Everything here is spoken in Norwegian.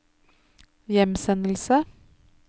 hjemsendelse